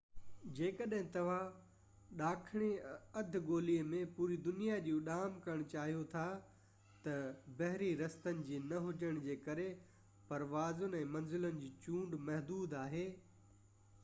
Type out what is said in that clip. جيڪڏهن توهان ڏاکڻي اڌ گولي ۾ پوري دنيا جي اُڏام ڪرڻ چاهيو ٿا ته بحري رستن جي نه هجڻ جي ڪري پروازن ۽ منزلن جي چونڊ محدود آهي